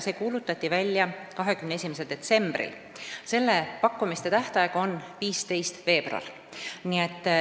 See kuulutatigi välja 21. detsembril ja pakkumiste tähtaeg on 15. veebruar.